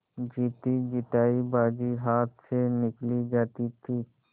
जीतीजितायी बाजी हाथ से निकली जाती थी